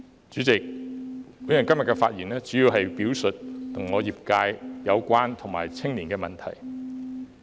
主席，我今天的發言主要是表述與我業界相關的問題，以及青年問題。